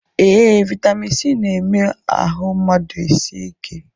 Ee, vitamin C na-eme ahụ mmadụ esie ike